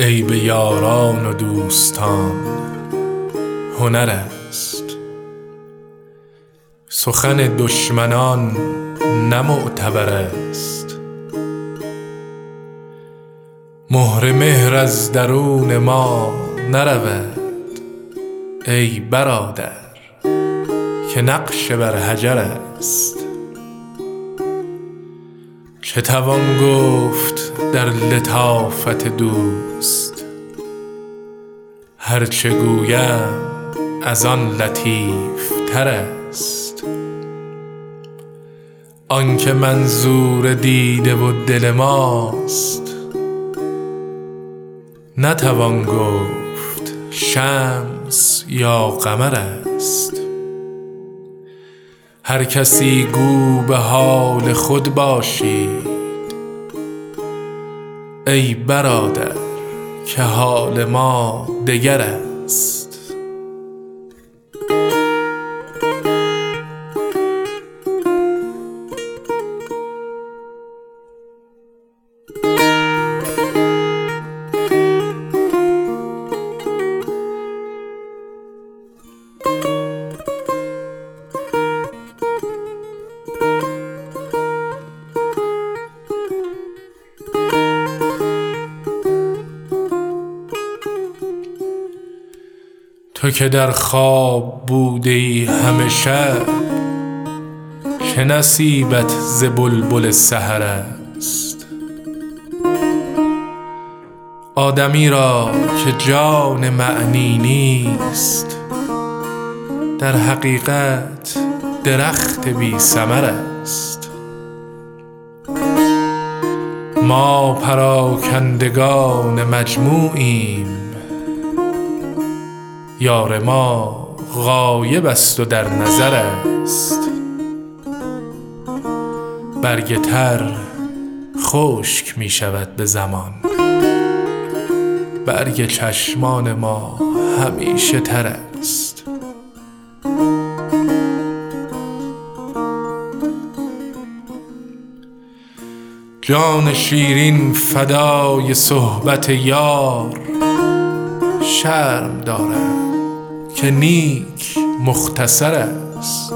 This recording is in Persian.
عیب یاران و دوستان هنر است سخن دشمنان نه معتبر است مهر مهر از درون ما نرود ای برادر که نقش بر حجر است چه توان گفت در لطافت دوست هر چه گویم از آن لطیف تر است آن که منظور دیده و دل ماست نتوان گفت شمس یا قمر است هر کسی گو به حال خود باشید ای برادر که حال ما دگر است تو که در خواب بوده ای همه شب چه نصیبت ز بلبل سحر است آدمی را که جان معنی نیست در حقیقت درخت بی ثمر است ما پراکندگان مجموعیم یار ما غایب است و در نظر است برگ تر خشک می شود به زمان برگ چشمان ما همیشه تر است جان شیرین فدای صحبت یار شرم دارم که نیک مختصر است